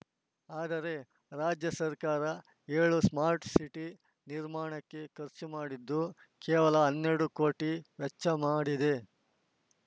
ಆದರೆ ರಾಜ್ಯ ಸರ್ಕಾರ ಏಳು ಸ್ಮಾರ್ಟ್‌ ಸಿಟಿ ನಿರ್ಮಾಣಕ್ಕೆ ಖರ್ಚು ಮಾಡಿದ್ದು ಕೇವಲ ಹನ್ನೆರಡು ಕೋಟಿ ವೆಚ್ಚ ಮಾಡಿದೆ